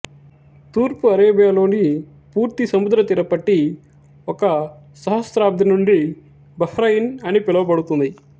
తూర్పు అరేబియాలోని పూర్తి సముద్రతీర పట్టీ ఒక సహస్రాబ్ధి నుండి బహ్రయిన్ అని పిలువబడుతుంది